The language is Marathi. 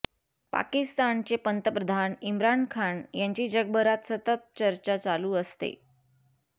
पाकिस्तानचे पंतप्रधान इम्रान खान यांची जगभरात सतत चर्चा चालू असते